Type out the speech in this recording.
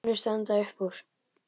Önnur standa upp úr.